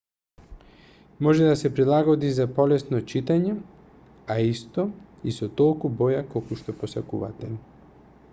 може да се прилагоди за полесно читање а исто и со толку боја колку што посакувате